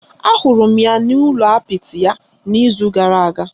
Ahụrụ m ya n’ụlọ apịtị ya n’izu gara aga